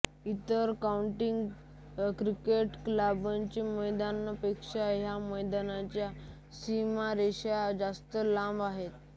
इतर county cricket क्लबच्या मैदानांपेक्षा ह्या मैदानाच्या सीमारेषा जास्त लांब आहेत